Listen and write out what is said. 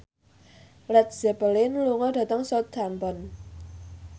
Led Zeppelin lunga dhateng Southampton